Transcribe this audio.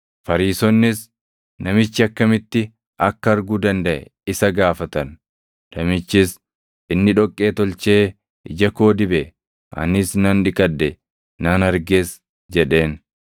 Fariisonnis namichi akkamitti akka arguu dandaʼe isa gaafatan; namichis, “Inni dhoqqee tolchee ija koo dibe; anis nan dhiqadhe; nan arges” jedheen.